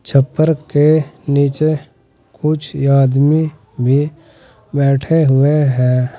टप्पर के नीचे कुछ आदमी भी बैठे हुए हैं।